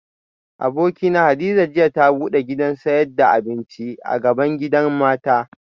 Abokina Hadiza jiya ta bude gidan sayad da abinci bgaban gidan mata